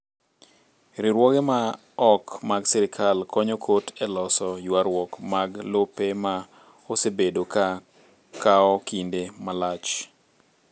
Riwruoge ma ok mag sirkal konyo kot e loso ywarruok mag lope ma osebedo ka kawo kinde malach.